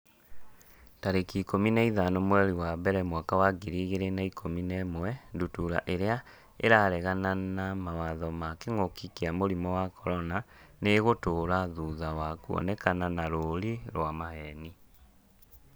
tarĩki ikũmi na ithano mweri wa mbere mwaka wa ngiri igĩrĩ na ikũmi na ĩmwe Ndutura irĩa 'ĩraregana na mawatho ma kĩngũki kia mũrimũ wa CORONA nĩ ĩgũtũra thutha wa kuonekana na rũũri rwa maheeni.